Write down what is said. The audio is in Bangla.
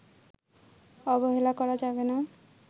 অবহেলা করা যাবেনা”